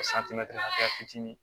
fitinin